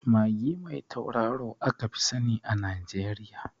Magi mai tauraro aka fi sani a Najeriya